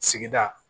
Sigida